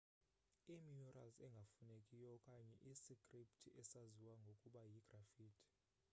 imurals engafunekiyo okanye isikripthi esaziwa ngokuba yigraffiti